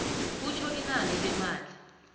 kutjho inani lemali